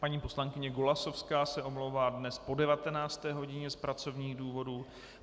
Paní poslankyně Golasowská se omlouvá dnes po 19. hodině z pracovních důvodů.